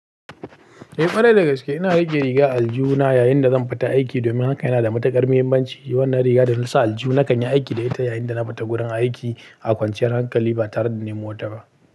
Eh ƙwarai dagaske ina rike riga aljuna yayin da zan fita aiki domin hakan yana da matuƙar muhimmanci. Wannan riga da na sa aliju na kan yi aiki da ita yayin da na fita gurin aiki a kwanciyar hankali ba tare da ni mota ba.